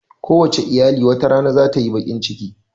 Kowace iyali wata rana zata yi baƙin ciki